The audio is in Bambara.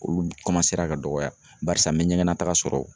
Olu kɔmansera ka dɔgɔya barisa n me ɲɛgɛnnataga sɔrɔ